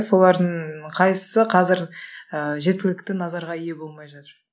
солардың қайсысы қазір ыыы жеткілікті назарға ие болмай жатыр